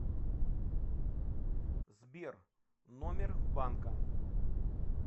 сбер номер банка